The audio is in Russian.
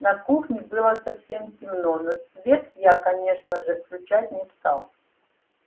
на кухне было совсем темно но свет я конечно же включать не стал